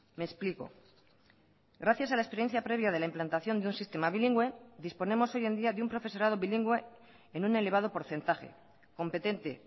me explico gracias a la experiencia previa de la implantación de un sistema bilingüe disponemos hoy en día de un profesorado bilingüe en un elevado porcentaje competente